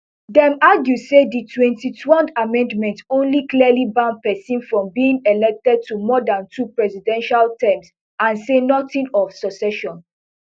dem argue say di twenty-twond amendment only clearly ban pesin from being elected to more dan two presidential terms and say nothing of succession